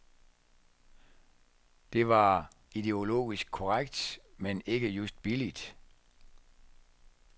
Det var ideologisk korrekt, men ikke just billigt.